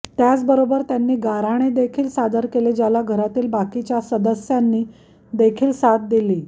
याचबरोबर त्यांनी गाऱ्हाणे देखील सादर केले ज्याला घरातील बाकीच्या सदस्यांनी देखील साथ दिली